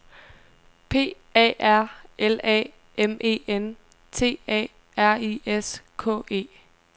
P A R L A M E N T A R I S K E